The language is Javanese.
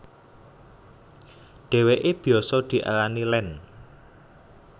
Dheweke biyasa diarani Land